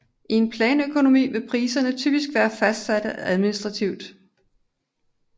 I en planøkonomi vil priserne typisk være fastsatte administrativt